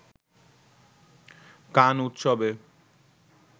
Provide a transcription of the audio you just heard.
কান উৎসবে